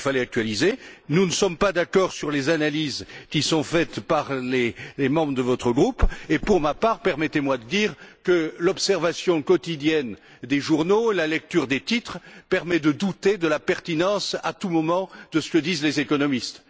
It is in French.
Il était bien sûr nécessaire de l'actualiser. Nous ne sommes pas d'accord sur les analyses qui sont faites par les membres de votre groupe et, pour ma part, permettez moi de dire que l'observation quotidienne des journaux et la lecture des titres permettent de douter de la pertinence à tous moments de ce que disent les économistes.